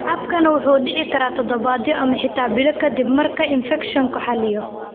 Habkani wuxuu dhici karaa toddobaadyo ama xitaa bilo ka dib marka infekshanku xalliyo.